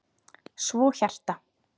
Svo hjarta.